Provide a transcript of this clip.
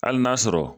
Hali n'a sɔrɔ